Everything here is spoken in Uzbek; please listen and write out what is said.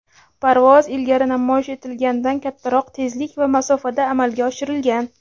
parvoz ilgari namoyish etilgandan kattaroq tezlik va masofada amalga oshirilgan.